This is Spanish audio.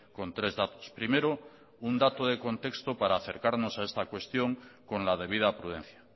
con tres datos primero un dato de contexto para acercarnos a esta cuestión con la debida prudencia